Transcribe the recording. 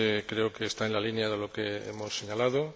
Creo que está en la línea de lo que hemos señalado.